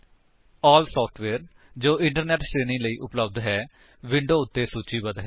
ALL software ਜੋ internet ਸ਼੍ਰੇਣੀ ਲਈ ਉਪਲੱਬਧ ਹੈ ਵਿਡੋਂ ਉੱਤੇ ਸੂਚੀਬੱਧ ਹੈ